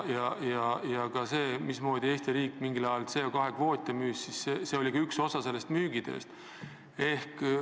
Ka see, mismoodi Eesti riik mingi ajal CO2 kvoote müüs, oli üks osa tema tööst.